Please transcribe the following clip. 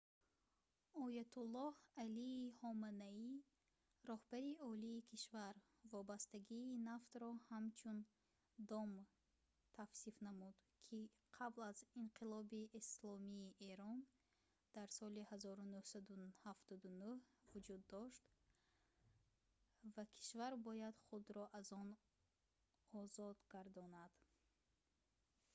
оятуллоҳ алии ҳоманаӣ раҳбари олии кишвар вобастагии нафтро ҳамчун «дом» тавсиф намуд ки қабл аз инқилоби исломии эрон дар соли 1979 вуҷуд дошт ва кишвар бояд худро аз он озод гардонад